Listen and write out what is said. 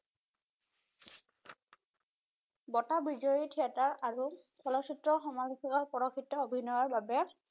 বঁটা বিজয়ী থিয়েটাৰ আৰু চলচ্চিত্ৰ সমালোচকক চলচ্চিত্ৰ অভিনয়ৰ বাবে